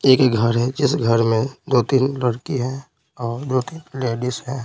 एक घर है जिस घर में दो-तीन लड़की हैं और दो-तीन लेडीज --